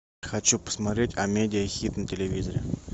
хочу посмотреть а медиа хит на телевизоре